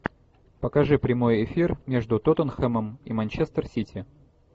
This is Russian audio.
покажи прямой эфир между тоттенхэмом и манчестер сити